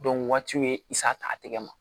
waatiw ye a tɛgɛ ma